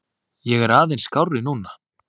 Ég er aðeins skárri núna.